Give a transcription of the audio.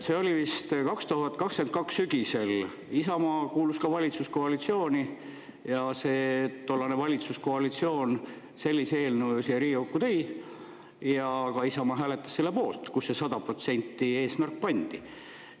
See oli vist 2022 sügisel, Isamaa kuulus ka valitsuskoalitsiooni, ja tollane valitsuskoalitsioon sellise eelnõu siia Riigikokku tõi ja ka Isamaa oma hääletas selle poolt, kus see 100% eesmärk pandi.